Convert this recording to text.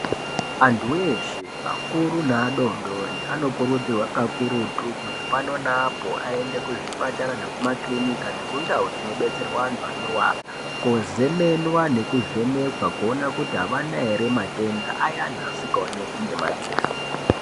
Andu we akuru neadodori anokurudzirwa kakurutu kuti pano neapo aende kuzvipatara nekuma kirinika nekundau dzinobetserwa antu anorwara kozemenwa, kuvhenekwa kuti aana here matenda ayani asingaoneki ngemadziso.